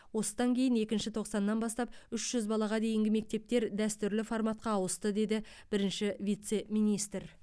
осыдан кейін екінші тоқсаннан бастап үш жүз балаға дейінгі мектептер дәстүрлі форматқа ауысты деді бірінші вице министр